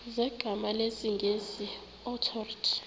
zegama lesngesn authorit